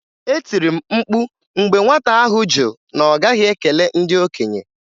E tiri m mkpu mgbe nwata ahụ jụ na ọ gaghị ekele ndị okenye.